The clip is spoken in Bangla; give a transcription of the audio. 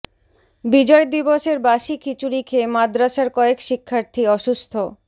বিজয় দিবসের বাসি খিচুড়ি খেয়ে মাদরাসার কয়েক শিক্ষার্থী অসুস্থ